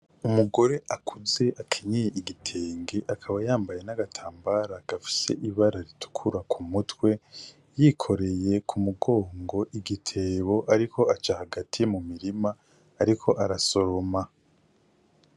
Umugore akuze akenyeye n'igitenge, akaba yambaye n'agatambara gafise ibara ritukura ku mutwe ,yikoreye ku mugongo igitebo ,ariko aca hagati mu mirima ariko arasoma.